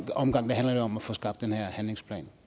omgang handler det om at få skabt den her handlingsplan